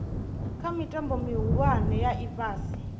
kha mitambo mihulwane ya ifhasi